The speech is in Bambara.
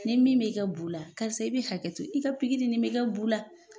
Ni min bɛ kɛ bu la, karisa i bɛ hakɛ to, i ka pikiri in bɛ kɛ bu la.